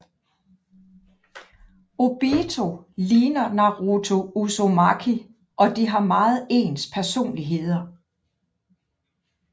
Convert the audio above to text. Obito liger Naruto Uzumaki og de har meget ens personligheder